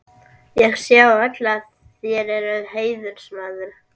Ég sé á öllu, að þér eruð heiðursmaður.